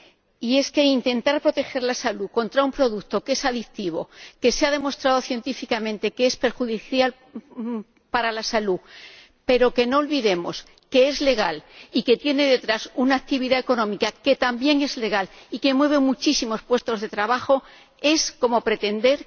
Y es que intentar proteger la salud contra un producto que es adictivo, que se ha demostrado científicamente que es perjudicial para la salud, pero que, no olvidemos, es legal y tiene detrás una actividad económica que también es legal y mueve muchísimos puestos de trabajo, es como pretender